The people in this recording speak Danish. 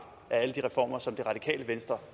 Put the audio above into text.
af alle de reformer som det radikale venstre